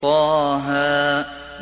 طه